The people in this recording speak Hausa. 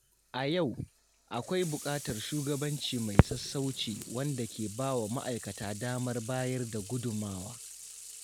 A yau, akwai buƙatar shugabanci mai sassauci wanda ke bawa ma’aikata damar bayar da gudunmawa.